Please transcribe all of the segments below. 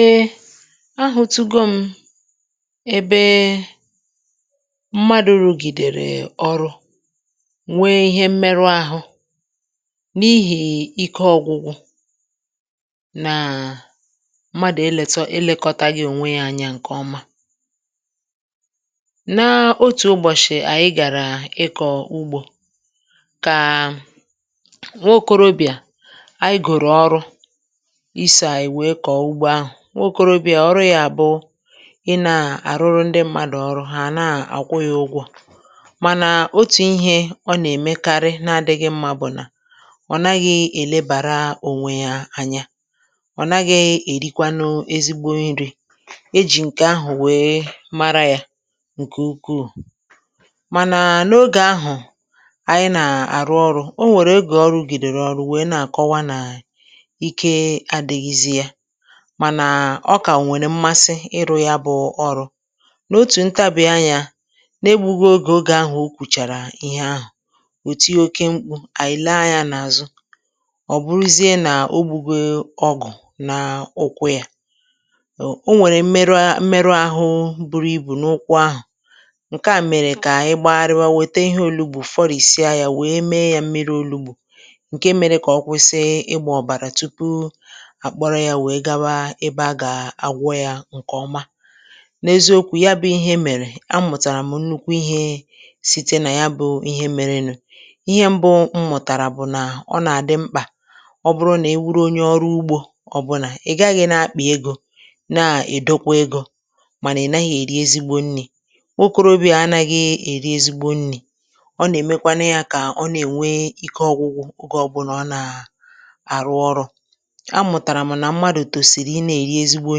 Ehh! A hụ́ tụgo m ebe mmadụ̀ rụ̀gịdèrè ọrụ, nwee ihe mmerụ ahụ́ n’ihì ike ọ̀gwụgwụ. Naa, mmadụ̀ eleta ilèkọtaghị ònwe ya, anyà ǹkè ọma. Naa, n'otù ụbọ̀chị̀ ànyị gàrà ịkọ̀ ụgbọ ka nwa okorobìa ànyị gòrò ọrụ ịso anyị wee koo ụgbọ ahụ. Nwa okorobìa, ọrụ ya bụ ị nà-àrụrụ ndị mmadụ̀ ọrụ, ha na-àkwu ya ụgwọ. Mànà otù ihe ọ nà-èmekarị na-adịghị mma bụ̀ nà ọ naghị èlebàra ònwe ya anya, ọ naghị èrikwanụ ezigbo nrì. E ji ǹkè ahụ̀ wee mara ya! Nke ụkụụ! Mànà n'oge ahụ, anyị na-arụ ọrụ ọ nwere oge ọ rụgịdèrè ọrụ wee na-akọwa na ike adịghịzi ya mànà ọka nwere mmasị ịrụ ya bụ ọrụ, na-otu ntabị anya, nègbughị oge. Oge ahụ ọ kwụchara ihe ahụ, ọ tịe oke mkpụ. Anyị lee anya na-azụ, ọ bụrụzie na ọ gbụgọ ọgụ na ụkwụ ya. Ọ nwere mmerụ mmerụ ahụ buru ibu n'ụkwụ ahụ nke a mere ka anyị gbagharịba weta ihe ọnụgbọ fọrịsịa ya wee mee ya mmịrị ọnụgbọ nke mere ka ọ kwụsị ịgba ọbara tụpụ akpọrọ ya wee gaba ebe a ga-agwọ ya nkeọma. N'eziokwu, ya bụ ihe mere, amụtara m nnụkwu ihe sịte na ya bụ ihe mere. Nụ, ihe mbụ m mụtara bụ na ọ na-adị mkpa ọ bụrụ na ị bụrụ ọnwe ọrụ ụgbọ ọbụla, ị gaghị ana-akpị ego na edokwa ego mànà ị naghị eri ezigbo nri. Nwa okorobịa anaghị eri ezigbo nri, ọ na-èmekwanụ ya ka ọ na-enwe ike ọgwụgwụ oge ọbụla ọ na-arụ ọrụ. Amụtara m na mmadụ tọsịrị ịna-eri ezigbo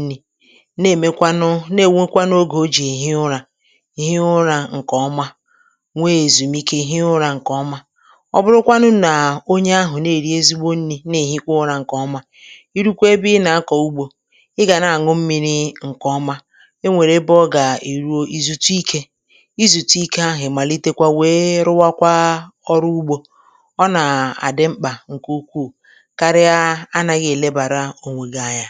nri na enwekwanụ na enwekwanụ oge ọ ji ehi ụra nke ọma nwee ezumịke hie ụra nke ọma. Ọ bụrụkwa na ọnye ahụ na-eri ezigbo nnị na ehikwa ụra nke ọma, ịrụkwe ebe ị na-akọ ụgbọ, ị ga-ana-anụ mmịrị nke ọma, enwere ebe ị ga-erụ ịzụtụ ike, ịzụtụ ike ahụ ị malịtekwa wee rụa ọrụ ụgbọ. Ọ na-adị mkpa nke ụkụụ karịa ịna-aghị ènebàra ònwe gị anya.